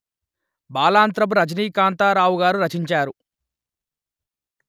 బాలాంత్రపు రజనీకాంతరావుగారు రచించారు